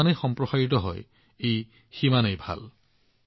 যিমানেই আশীৰ্বাদ বিয়পি পৰে সিমানেই ভাল হয়